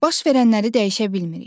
Baş verənləri dəyişə bilmirik.